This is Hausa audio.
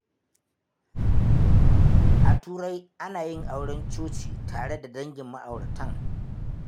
A Turai, ana yin auren coci tare da dangin ma’auratan.